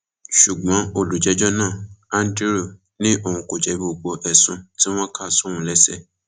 ṣùgbọn olùjẹjọ náà andrew ni òun kò jẹbi gbogbo ẹsùn tí wọn kà sóun lẹsẹ